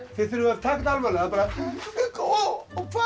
þið þurfið að taka almennilega og hvar